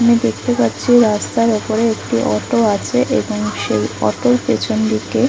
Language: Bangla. আমি দেখতে পাচ্ছি রাস্তার উপরে একটি অটো আছে এবং সেই অটোর পেছন দিকে --